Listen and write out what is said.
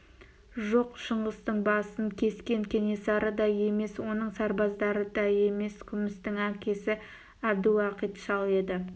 жоқ шыңғыстың басын кескен кенесары да емес оның сарбаздары да емес күмістің әкесі әбдіуақит шал еді